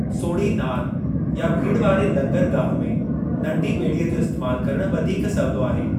सोढ़ी नारि या भीड़ वारे लंगरगाहु में नंढी ॿेड़ीअ जो इस्तैमालु करणु वधीक सवलो आहे।